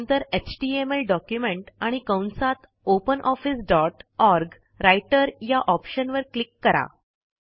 नंतर HTML document आणि कंसातopen ऑफिस डॉट ओआरजी राइटर या ऑप्शनवर क्लिक करा